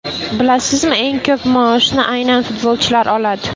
Bilasizmi, eng ko‘p maoshni aynan futbolchilar oladi.